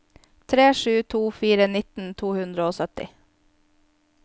tre sju to fire nitten to hundre og sytti